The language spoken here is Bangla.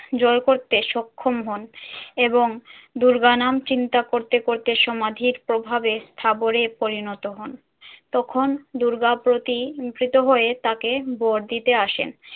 জয় করতে সক্ষম হন এবং দুর্গা নাম চিন্তা করতে করতে সমাধির প্রভাবে স্থাবরে পরিণত হন। তখন দুর্গা প্রতীকৃত হয়ে তাকে বর দিতে আসেন।